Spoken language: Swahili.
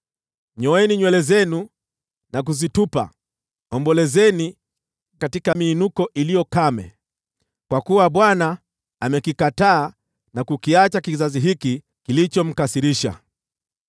Nyoeni nywele zenu na kuzitupa, ombolezeni katika miinuko iliyo kame, kwa kuwa Bwana amekikataa na kukiacha kizazi hiki kilichomkasirisha.